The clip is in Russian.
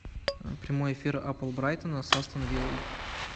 прямой эфир апл брайтона с астон виллой